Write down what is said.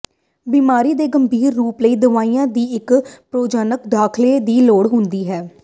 ਬਿਮਾਰੀ ਦੇ ਗੰਭੀਰ ਰੂਪ ਲਈ ਦਵਾਈਆਂ ਦੀ ਇੱਕ ਪ੍ਰਯੋਜਨਕ ਦਾਖਲੇ ਦੀ ਲੋੜ ਹੁੰਦੀ ਹੈ